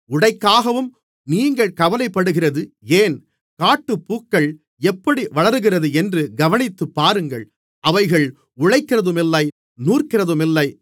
உடைக்காகவும் நீங்கள் கவலைப்படுகிறது ஏன் காட்டுப்பூக்கள் எப்படி வளருகிறதென்று கவனித்துப்பாருங்கள் அவைகள் உழைக்கிறதுமில்லை நூற்கிறதுமில்லை